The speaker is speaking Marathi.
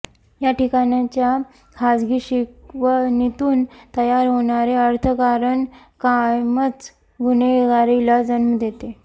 या ठिकाणच्या खासगी शिकवणीतून तयार होणारे अर्थकारण कायमच गुन्हेगारीला जन्म देते